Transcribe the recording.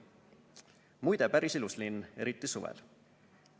Muide, päris ilus linn, eriti suvel.